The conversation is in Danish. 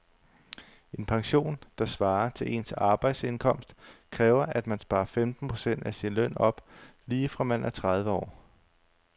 En pension, der svarer til ens arbejdsindkomst, kræver at man sparer femten procent af sin løn op lige fra man er tredive år.